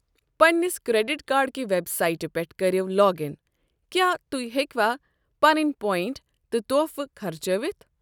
پنٛنِس credit card کِہ web سائٹِہ پیٹھ كٔرِیو لاگ اِن ۔ کیاہ تُہۍ ہیكوا پنٕنۍ پوینٛٹ تہٕ تحفہٕ خرچٲوِتھ ۔